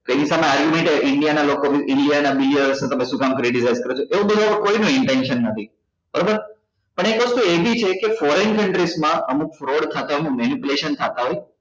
india ના લોકો નું india ના બીજા શું કામ credit ઓછી કરો છો એવું બધું અહી કોઈ નું intention નથી બરોબર પણ એક વસ્તુ એ બી છે કે foreign countries માં અમુક off-road ખાતા માં થતા હોય